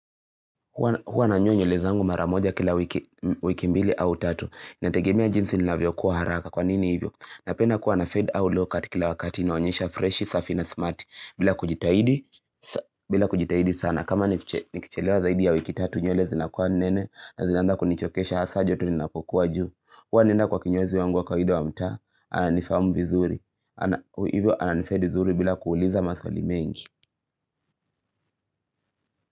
Huwa nanyoa nywele zangu mara moja kila wiki mbili au tatu. Nategemea jinsi ninavyo kua haraka. Kwa nini hivyo? Napenda kuwa na fade au low cut kila wakati inaonyesha freshi, safi na smarti bila kujitahidi sana. Kama nikichelewa zaidi ya wiki tatu nywele zinakuwa nene na zinaanza kunichokesha hasa joto linapokuwa juu. Huwa naenda kwa kinyozi wangu wa kawaida wa mtaa. Ananifahamu vizuri. Hivyo ananifedi vizuri bila kuuliza maswali mengi.